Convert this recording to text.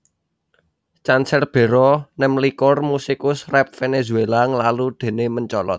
Canserbero nemlikur musikus rap Vènèzuéla nglalu déné mencolot